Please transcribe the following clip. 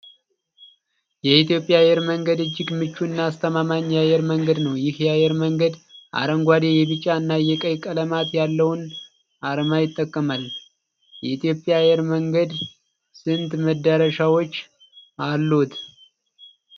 የኢትዮጵያ የአየር መንገድ እጅግ ምቹ እና አስተማማኝ የአይር መንገድ ነው። ይህ የአየር መንገድ አረንጓዴ ፣ቢጫ እና ቀይ ቀላማት ያለውን አርማ ይጠቀማል። የኢትዮጵያ አየር መንገድ ስንት መዳረሻዎች አሉት?